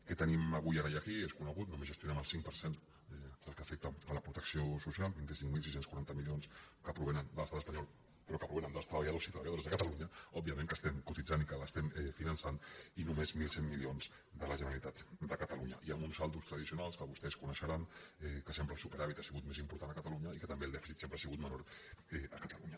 què tenim avui ara i aquí és conegut només gestionem el cinc per cent del que afecta a la protecció social vint cinc mil sis cents i quaranta milions que provenen de l’estat espanyol però que provenen dels treballadors i treballadores de catalunya òbviament que estem cotitzant i que l’estem finançant i només mil cent milions de la generalitat de catalunya i amb uns saldos tradicionals que vostès coneixeran que sempre el superàvit ha sigut més important a catalunya i que també el dèficit sempre ha sigut menor a catalunya